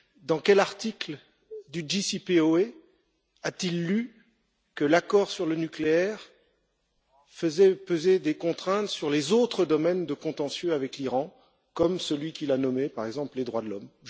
Dans quel article du plan d'action global commun a t il lu que l'accord sur le nucléaire faisait peser des contraintes sur les autres domaines de contentieux avec l'Iran, comme celui qu'il a nommé, par exemple, les droits de l'homme?